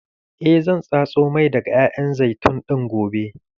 Eh zan tatso mai daga ƴaƴan zaitun ɗin gobe.